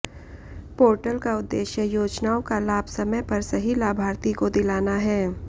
portal का उद्देश्य योजनाओं का लाभ समय पर सही लाभार्थी को दिलाना है